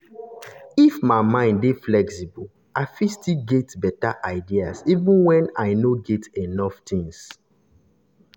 if my mind dey flexible i fit still get better ideas even when i no get enough things.